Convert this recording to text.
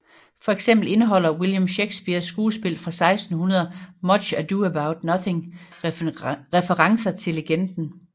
Fx indeholder William Shakespeares skuespil fra 1600 Much Ado About Nothing referencer til legenden